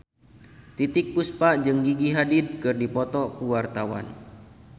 Titiek Puspa jeung Gigi Hadid keur dipoto ku wartawan